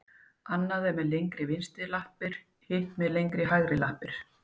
Annað er með lengri vinstri lappir, hitt með lengri hægri lappir.